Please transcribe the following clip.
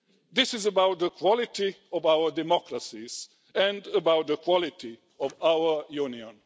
This is about the quality of our democracies and about the quality of our Union.